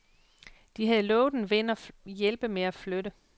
De havde lovet en ven at hjælpe med at flytte.